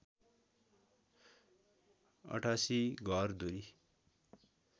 ८८ घरधुरी